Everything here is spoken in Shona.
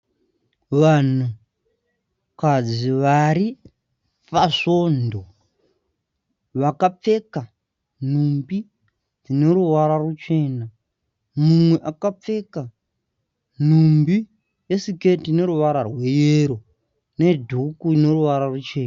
Vanhukadzi vari pasvondo vakapfeka nhumbi dzine ruvara ruchena . Mumwe akapfeka nhumbi- isiketi ine ruvara rweyero nedhuku ine ruvara ruchena.